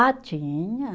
Ah, tinha.